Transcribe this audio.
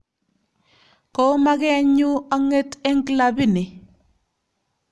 Ko magenyu ang'et eng klabini